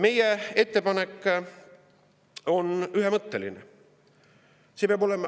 Meie ettepanek on ühemõtteline.